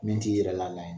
Min t'i yɛrɛ la ye